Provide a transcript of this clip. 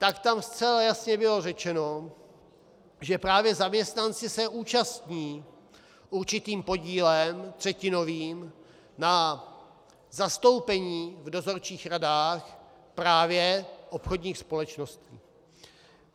Tak tam zcela jasně bylo řečeno, že právě zaměstnanci se účastní určitým podílem, třetinovým, na zastoupení v dozorčích radách právě obchodních společností.